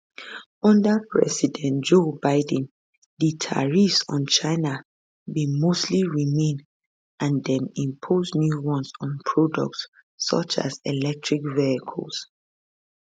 under president joe biden di tariffs on china bin mostly remain and dem impose new ones on products such as electric vehicles